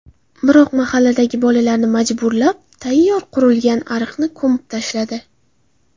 Biroq, mahalladagi bolalarni majburlab, tayyor qurilgan ariqni ko‘mib tashladi.